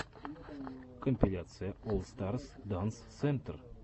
компиляция олл старс данс сентр